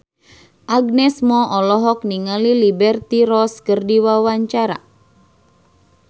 Agnes Mo olohok ningali Liberty Ross keur diwawancara